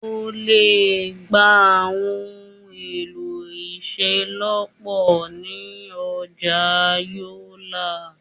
O lè gba àwọn ohun èlò ìṣelọ́pọ̀ ni Ọjà Yolla